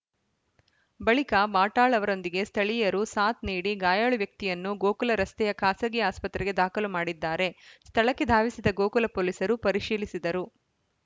ಬಳಿಕ ವಾಟಾಳ್‌ ಅವರೊಂದಿಗೆ ಸ್ಥಳೀಯರು ಸಾಥ್‌ ನೀಡಿ ಗಾಯಾಳು ವ್ಯಕ್ತಿಯನ್ನು ಗೋಕುಲ ರಸ್ತೆಯ ಖಾಸಗಿ ಆಸ್ಪತ್ರೆಗೆ ದಾಖಲು ಮಾಡಿದ್ದಾರೆ ಸ್ಥಳಕ್ಕೆ ಧಾವಿಸಿದ ಗೋಕುಲ ಪೊಲೀಸರು ಪರಿಶೀಲಿಸಿದರು